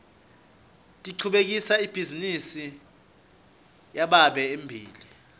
ngichubekisela ibhizinisi yababe embili